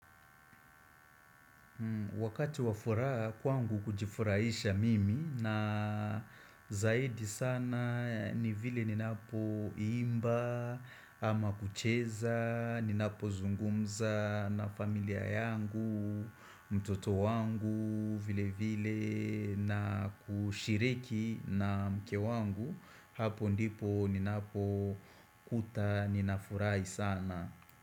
Wakati wa furaha kwangu hujifuraisha mimi na zaidi sana ni vile ninapoimba ama kucheza, ninapozungumza na familia yangu, mtoto wangu, vile vile na kushiriki na mke wangu hapo ndipo ninapokuta, ninafurahii sana.